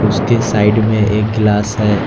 उसके साइड में एक गिलास है।